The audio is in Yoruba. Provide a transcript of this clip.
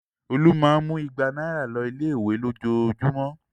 Olú máa ń mú igba náírà lọ ilé-ìwé lójoojúmọ́.